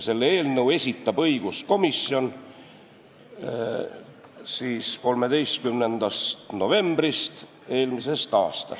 Selle eelnõu algatas õiguskomisjon 13. novembril eelmisel aastal.